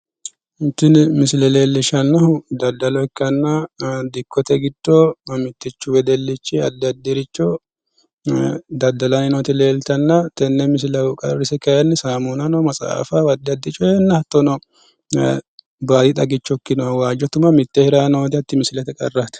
Tini misile leellishshannohu daddalo ikkanna, dikkote giddo mittichu wedellichi addi addiricho daddalay nooti leeltanna, tenne misilehu qaarrise kayiinni saamunnano maxaafanno addi addi coye hattono, baadi xagicho ikkinoha waajjo tuma miitteenni hiray nooti hatti misileti qarraati.